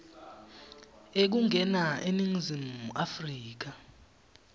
ekungena eningizimu afrika